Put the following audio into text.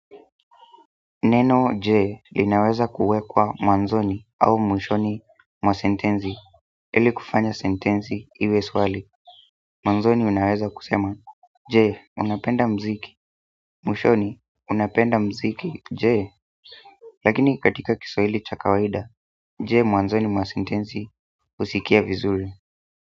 Neno J linaweza kuwekwa mwanzoni au mwishoni mwa sentensi. Ili kufanya sentenzi iwe swali, mwanzoni unaweza kusema, je, unapenda mziki, mwishoni unapenda mziki je? Lakini katika kiswahili cha kawaida, je mwanzoni mwa sentenzi husikia vizuri.